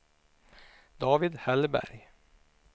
David Hellberg